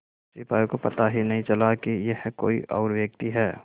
सिपाही को पता ही नहीं चला कि यह कोई और व्यक्ति है